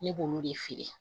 Ne b'olu de feere